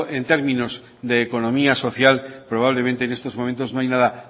en términos de economía social probablemente en estos momentos no hay nada